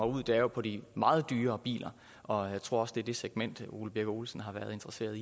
ud er jo på de meget dyre biler og jeg tror også at det er det segment herre ole birk olesen har været interesseret